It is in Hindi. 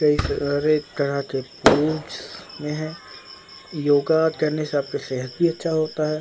कई सारे तरह के पूज में है योगा करने से आपके सेहत भी अच्छा होता है।